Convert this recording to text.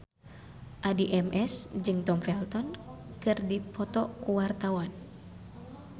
Addie MS jeung Tom Felton keur dipoto ku wartawan